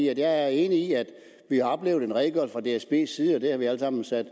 er enig i at vi har oplevet en redegørelse fra dsbs side og det har vi alle sammen sat